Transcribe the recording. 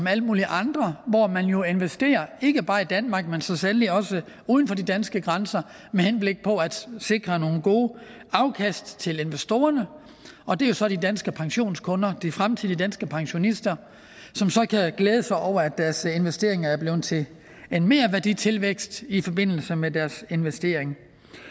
alle mulige andre investerer ikke bare i danmark men så sandelig også uden for de danske grænser med henblik på at sikre nogle gode afkast til investorerne og det er så de danske pensionskunder de fremtidige danske pensionister som kan glæde sig over at deres investeringer er blevet til en merværditilvækst i forbindelse med deres investering